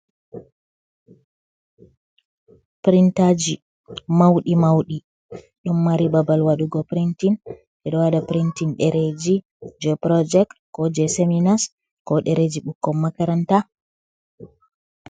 Pirintaaji mawɗi mawɗi, ɗon mari babal waɗugo pirintin. Ɓe ɗo waɗa pirintin ɗereeji, jey purojeec, ko jey seminas, ko ɗereeji ɓukkon makaranta.